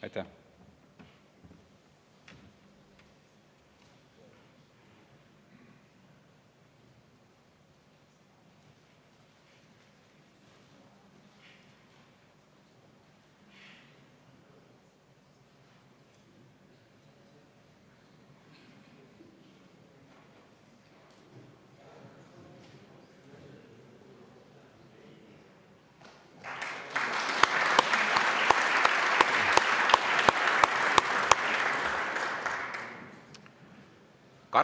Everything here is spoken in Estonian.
Aitäh!